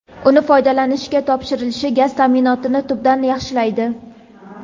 uni foydalanishga topshirilishi gaz ta’minotini tubdan yaxshilaydi.